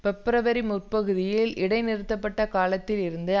பிப்ரவரி முற்பகுதியில் இடை நிறுத்தப்பட்ட காலத்தில் இருந்து